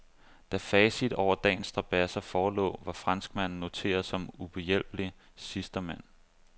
Da facit over dagens strabadser forelå, var franskmanden noteret som uhjælpelig sidstemand.